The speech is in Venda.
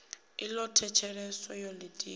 i ḓo thetsheleswa yo ḓitika